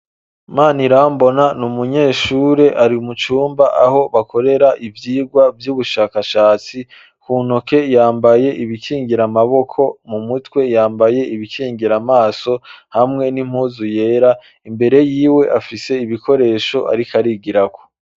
Manirambona n'umunyeshure, ari mu cumba aho bakorera ivyigwa vy'ubushakashatsi, ku ntoke yambaye ibikingira amaboko, mu mutwe yambaye ibikingira amaso, hamwe n'impuzu yera, imbere yiwe afise ibikoresho ariko arigirako.